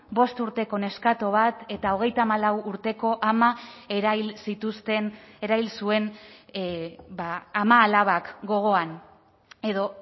bost urteko neskato bat eta hogeita hamalau urteko ama erail zituzten erail zuen ama alabak gogoan edo